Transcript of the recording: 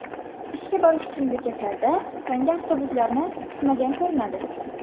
ishga borish uchun bekatlarda tonggi avtobuslarni kutmagan ko‘rinadi.